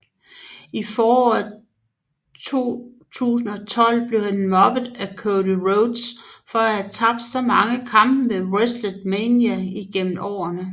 I foråret 2012 blev han mobbet af Cody Rhodes for at have tabt så mange kampe ved WrestleMania igennem årene